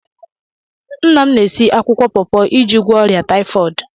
Nna m na-esi akwụkwọ pọọpọ iji gwụọ ọrịa taịfọd.